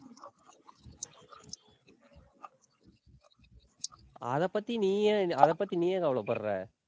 அதைப் பத்தி நீ ஏன் அதைப் பத்தி நீ ஏன் கவலைப்படுற?